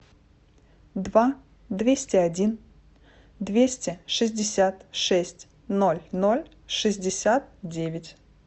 два двести один двести шестьдесят шесть ноль ноль шестьдесят девять